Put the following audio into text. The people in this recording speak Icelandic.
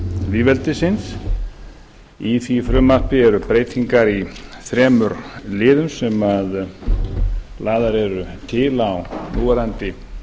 lýðveldisins í því frumvarpi eru breytingar í þremur liðum sem lagðar eru til á núverandi